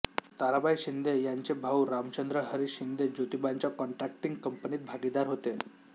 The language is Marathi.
ताराबाई शिंदे यांचे भाऊ रामचंद्र हरी शिंदे जोतिबांच्या कॉन्ट्रक्टिंग कंपनीत भागीदार होते